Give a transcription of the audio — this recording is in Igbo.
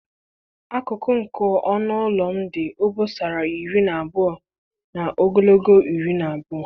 Akụkụ nke ọnụ ụlọ m dị obosara iri na abụọ na ogologo iri na abụọ